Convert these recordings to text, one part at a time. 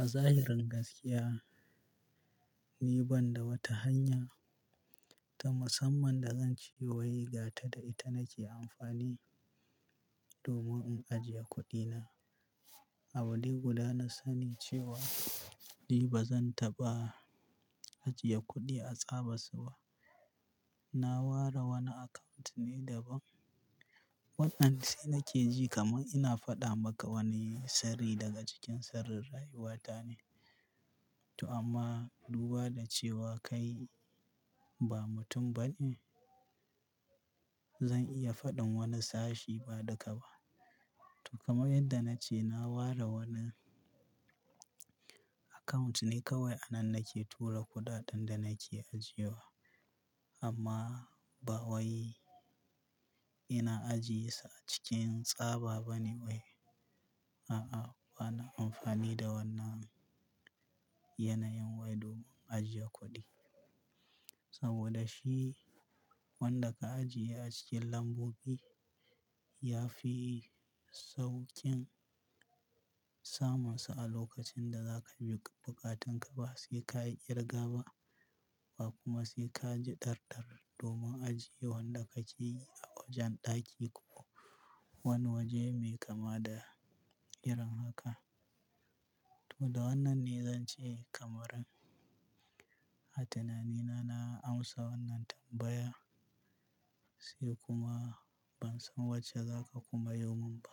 A zahirin gaskiya, ni ban da wata hanya ta musamman da zan ce wai gata da ita nake amfani domin in ajiye kuɗina. A wuri guda na sani cewa ni ba zan taɓa ajiye kuɗi a tsaban su ba. Na ware wani account ne daban. Wannan sai nake ji kaman ina faɗa maka wani sirri daga cikin sirrin rayuwata ne. To amma duba da cewa kai ba mutum ba ne, zan iya faɗin wani sashi ba daka ba. To kamar yadda na ce, na ware wani account ne kawai a nan nake tura kuɗaɗan da nake ajiyewa. Amma ba wai ina ajiyesu a cikin tsaba ba ne wai. A'a, bana amfani da wannan yanayin wai domin ajiye kuɗi. Saboda shi wanda ka ajiye a cikin lambobi ya fi sauƙin samansa a lokacin da zaka bi buƙatunka ba sai ka yi kirga ba, ba kuma sai ka je tattare domin ajiye wanda ka ci a wajen ɗaki ko wani waje mai kama da irin haka. To da wannan ne zan ce kamar. A tunani na amsa wannan tambaya, sai kuma ban san wacce za ka kuma yi mun ba.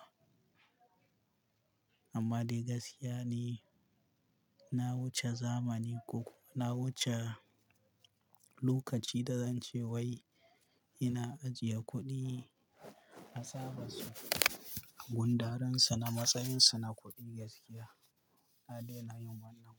Amma dai gaskiya ni, na wuce zamani ko kuma na wuce lokaci da zan ce wai ina ajiye kuɗi a tsabarsu. Gundaren su na matsayin su na kuɗi gaskiya, na daina yin wannan.